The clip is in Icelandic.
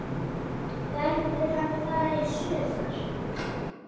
Verður hann þar í sumar?